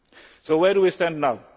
So where do we stand now?